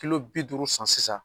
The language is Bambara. Kilo bi duuru san sisan